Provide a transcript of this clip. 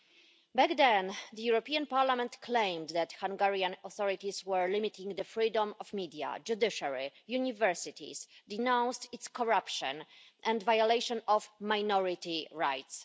Back then, the European Parliament claimed that Hungarian authorities were limiting the freedom of media, the judiciary and universities, denounced its corruption and violations of minority rights.